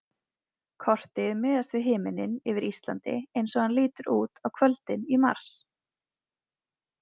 Kortið miðast við himininn yfir Íslandi eins og hann lítur út á kvöldin í mars.